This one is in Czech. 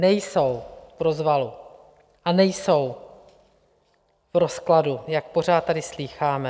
Nejsou v rozvalu a nejsou v rozkladu, jak pořád tady slýcháme.